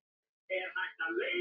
Tekur mig í gegn.